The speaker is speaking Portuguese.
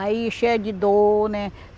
Aí cheia de dor, né?